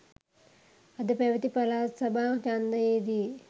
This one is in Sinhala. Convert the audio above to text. අද පැවති පළාත් සභා ඡන්දයේ දී